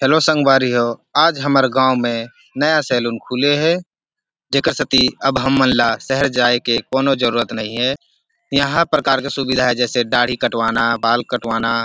hello संगवारी हो आज हमर गाँव में नया सैलून खुले हे जेखर सेती खातिर अब हमन ला शहर जाये के कोन्हो जरुरत नई हे इहा हर प्रकार के सुविधा हे जैसे दाढ़ी कटवाना बाल कटवाना --